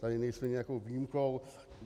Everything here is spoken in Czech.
Tady nejsme nějakou výjimkou.